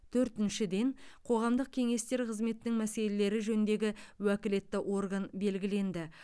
төртіншіден қоғамдық кеңестер қызметінің мәселелері жөніндегі уәкілетті орган белгіленді